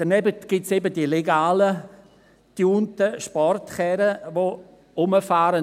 Daneben gibt es eben die legalen getunten Sportkarren, die rumfahren.